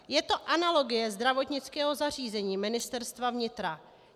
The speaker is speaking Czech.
Je to analogie Zdravotnického zařízení Ministerstva vnitra.